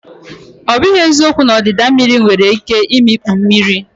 Ọ bụghị eziokwu na ọdịda mmiri nwere ike imikpu mmadụ.